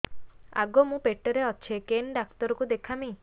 ଆଗୋ ମୁଁ ପେଟରେ ଅଛେ କେନ୍ ଡାକ୍ତର କୁ ଦେଖାମି